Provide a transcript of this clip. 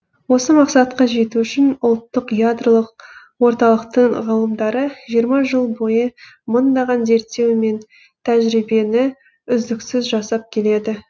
осы мақсатқа жету үшін ұлттық ядролық орталықтың ғалымдары жиырма жыл бойы мыңдаған зерттеу мен тәжірибені үздіксіз жасап келеді